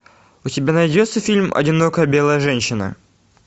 у тебя найдется фильм одинокая белая женщина